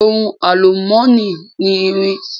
Ohun àlùmọ́nì ni irin.